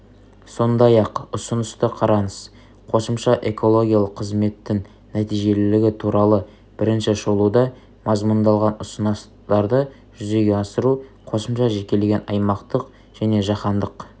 сондай-ақ ұсынысты қараңыз қосымша экологилық қызметтің нәтижелілігі туралы бірінші шолуда мазмұндалған ұсыныстарды жүзеге асыру қосымша жекелеген аймақтық және жаһандық